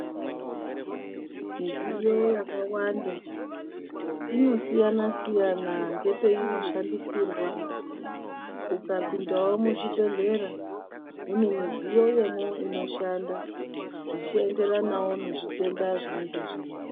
Midziyo yakawanda inosiyana -siyana ngepeino shandisirwa. Ukapindawo muzvibhehlera mune midziyo yemwo inoshanda zvichienderanawo nezvitenda zvinenge zvirimwo.